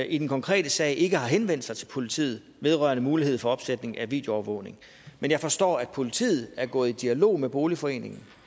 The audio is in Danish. i den konkrete sag ikke har henvendt sig til politiet vedrørende mulighed for opsætning af videoovervågning men jeg forstår at politiet er gået i dialog med boligforeningen